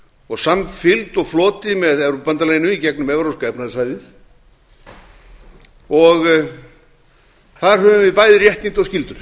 og samfylgd og floti með evrópubandalaginu í gegnum evrópska efnahagssvæðið og þar höfum við bæði réttindi og skyldur